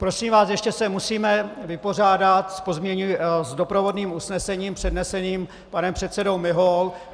Prosím vás, ještě se musíme vypořádat s doprovodným usnesením předneseným panem předsedou Miholou.